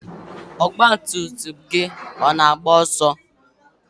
ọgba tum tum gị ọ na-agba ọsọ?